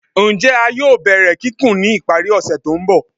Njẹ a yoo bẹrẹ kikun ni ipari ose to nbọ?